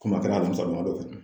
Komi a kɛla alamisa don ya dɔ fɛ